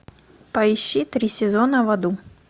поищи три сезона в аду